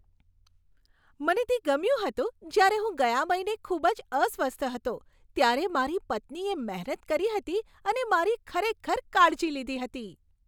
મને તે ગમ્યું હતું જ્યારે હું ગયા મહિને ખૂબ જ અસ્વસ્થ હતો ત્યારે મારી પત્નીએ મહેનત કરી હતી અને મારી ખરેખર કાળજી લીધી હતી.